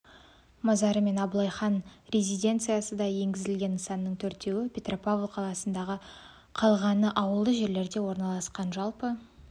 мазары мен абылайхан резиденциясы да енгізілді нысанның төртеуі петропавл қаласында қалғаны ауылды жерлерде орналасқан жалпы